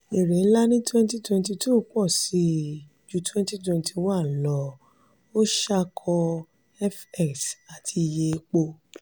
èrè ńlá ní 2022 pọ̀ sí i ju 2021 lọ ó ṣàkọ fx àti iye epo.